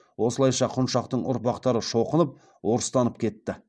осылайша құншақтың ұрпақтары шоқынып орыстанып кетті